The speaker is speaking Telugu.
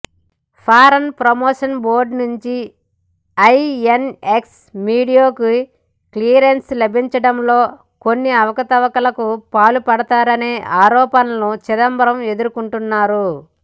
ఫారిన్ ప్రమోషన్ బోర్డు నుంచి ఐఎన్ఎక్స్ మీడియాకు క్లియరెన్స్ లభించడంలో కొన్ని అవకతవకలకు పాల్పడ్డారనే ఆరోపణలను చిదంబరం ఎదుర్కొంటున్నారు